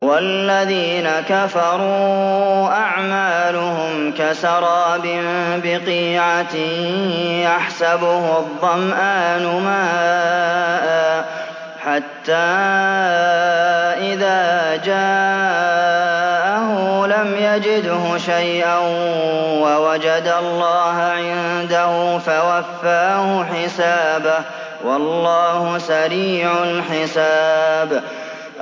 وَالَّذِينَ كَفَرُوا أَعْمَالُهُمْ كَسَرَابٍ بِقِيعَةٍ يَحْسَبُهُ الظَّمْآنُ مَاءً حَتَّىٰ إِذَا جَاءَهُ لَمْ يَجِدْهُ شَيْئًا وَوَجَدَ اللَّهَ عِندَهُ فَوَفَّاهُ حِسَابَهُ ۗ وَاللَّهُ سَرِيعُ الْحِسَابِ